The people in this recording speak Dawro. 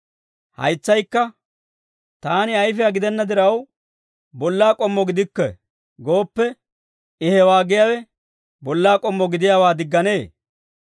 Haytsaykka, «Taani ayfiyaa gidenna diraw, bollaa k'ommo gidikke» gooppe, I hewaa giyaawe bollaa k'ommo gidiyaawaa digganee?